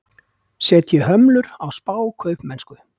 Setji hömlur á spákaupmennsku